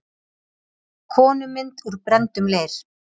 Konumynd úr brenndum leir.